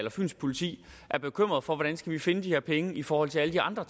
fyns politi er bekymret for hvordan de skal finde de her penge i forhold til alle de andre